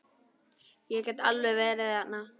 Ég get alveg verið þerna.